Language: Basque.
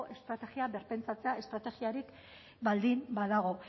estrategia birpentsatzea estrategiarik baldin badago